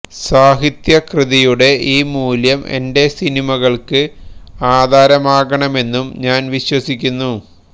സാഹിത്യകൃതിയുടെ ഈ മൂല്യം എന്റെ സിനിമകള്ക്ക് ആധാരമാകണമെന്ന് ഞാന് വിശ്വസിക്കുന്നു